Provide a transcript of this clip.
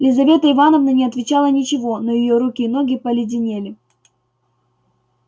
лизавета ивановна не отвечала ничего но её руки и ноги поледенели